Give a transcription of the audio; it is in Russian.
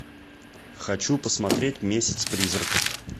хочу посмотреть месяц призраков